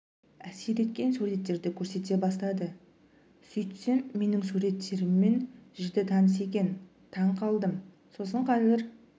әсер еткен суреттерді көрсете бастады сөйтсем менің суреттеріммен жіті таныс екен таң қалдым сосын қазір